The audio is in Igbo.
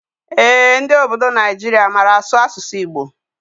Ee, ndị ọbọdọ Naijiria màrà asụ asụsụ Igbo.